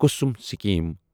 Kusum scheme